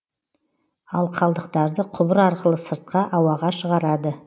ал қалдықтарды құбыр арқылы сыртқа ауаға шығарады